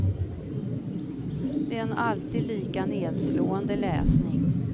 Det är en alltid lika nedslående läsning.